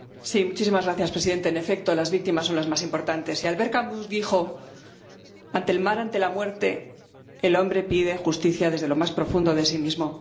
Señor presidente, en efecto, las víctimas son lo más importante, y Albert Camus dijo Ante el mal, ante la muerte, el hombre pide justicia desde lo más profundo de sí mismo..